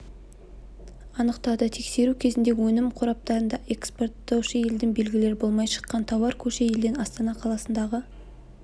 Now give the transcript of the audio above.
анықтады тексеру кезінде өнім қораптарында экпорттаушы елдің белгілері болмай шыққан тауар көрші елден астана қаласындағы